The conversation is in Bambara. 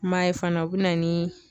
M'a ye fana o bɛ na ni